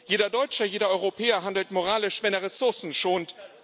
Jeder Deutsche, jeder Europäer handelt moralisch, wenn er Ressourcen schont.